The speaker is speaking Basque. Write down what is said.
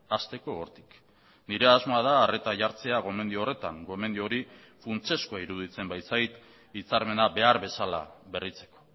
hasteko hortik nire asmoa da arreta jartzea gomendio horretan gomendio hori funtsezkoa iruditzen baitzait hitzarmena behar bezala berritzeko